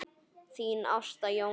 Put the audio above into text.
Þín Ásta Jóna.